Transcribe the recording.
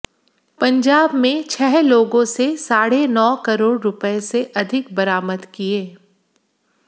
पंजाब में छह लोगों से साढ़े नौ करोड़ रुपए से अधिक बरामद किए